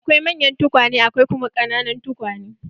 Akwai manyan tukwane akwai kuma ƙananan tukwane.